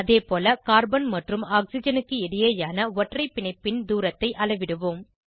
அதேபோல கார்பன் மற்றும் ஆக்சிஜனுக்கு இடையேயான ஒற்றை பிணைப்பின் தூரத்தை அளவிடுவோம்